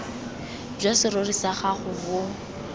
jwa serori sa gago bo